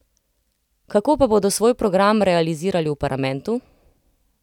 Kako pa bodo svoj program realizirali v parlamentu?